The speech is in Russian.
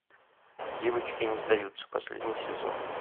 девочки не сдаются последний сезон